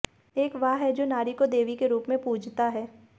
एक वह है जो नारी को देवी के रूप में पूजता है